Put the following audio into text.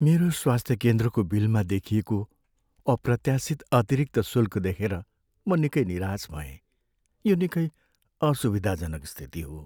मेरो स्वास्थ्य केन्द्रको बिलमा देखिएको अप्रत्यासित अतिरिक्त शुल्कदेखेर म निकै निराश भएँ, यो निकै असुविधाजनक स्थिति हो।